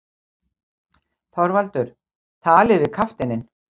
ÞORVALDUR: Talið við kafteininn.